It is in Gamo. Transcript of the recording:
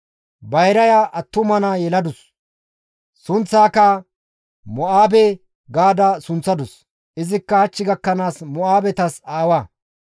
Bayraya attuma naa yeladus; sunththaaka Mo7aabe gaada sunththadus; izikka hach gakkanaas Mo7aabetas aawa.